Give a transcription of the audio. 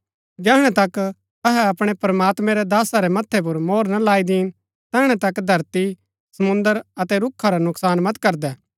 जैहणै तक अहै अपणै प्रमात्मैं रै दासा रै मथै पुर मोहर ना लाई दीन तैहणै तक धरती समुंद्र अतै रूखा रा नूकसान मत करदै